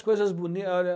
coisas